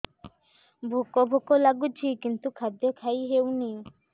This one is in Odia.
ଭୋକ ଭୋକ ଲାଗୁଛି କିନ୍ତୁ ଖାଦ୍ୟ ଖାଇ ହେଉନି